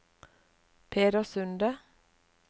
Peder Sunde